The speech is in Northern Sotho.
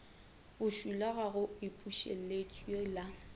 bošula ga o ipušeletše la